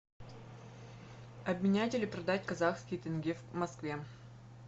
обменять или продать казахский тенге в москве